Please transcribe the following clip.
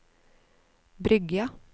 Bryggja